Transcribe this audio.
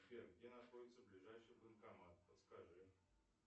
сбер где находится ближайший банкомат подскажи